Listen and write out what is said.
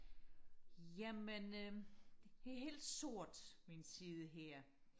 jamen øhm det er helt sort min side her